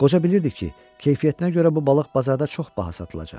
Qoca bilirdi ki, keyfiyyətinə görə bu balıq bazarda çox baha satılacaq.